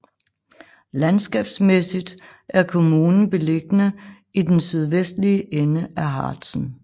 Landskabsmæssigt er kommunen beliggende i den sydvestlige ende af Harzen